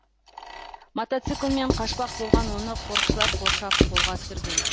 мотоциклмен қашпақ болған оны қорықшылар қоршап қолға түсірген